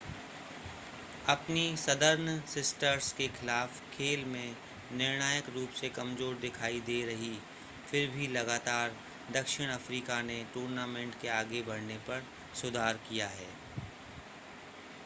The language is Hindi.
अपनी सदर्न सिस्टर्स के खिलाफ़ खेल में निर्णायक रूप से कमज़ोर दिखाई दे रही फिर भी लगातार दक्षिण अफ़्रीका ने टूर्नामेंट के आगे बढ़ने पर सुधार किया है